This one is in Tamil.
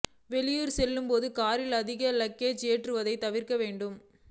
வெளியூர் செல்லும்போது காரில் அதிக லக்கேஜ் ஏற்றுவதை தவிர்க்க வேண்டும்